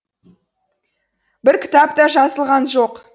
бір кітап та жазылған жоқ